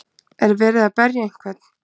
er verið að berja einhvern